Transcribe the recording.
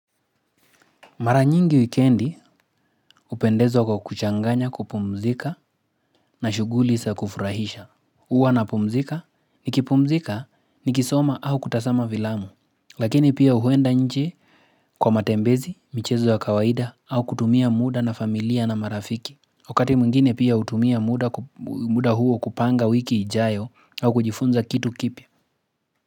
Mara nyingi wikendi hupendeza kwa kuchanganya kupumzika na shughuli za kufurahisha. Huwa napumzika nikipumzika nikisoma au kutazama filamu. Lakini pia huenda nje kwa matembezi, michezo wa kawaida au kutumia muda na familia na marafiki. Wakati mwingine pia hutumia muda huo kupanga wiki ijayo au kujifunza kitu kipya.